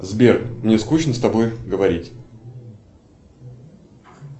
сбер мне скучно с тобой говорить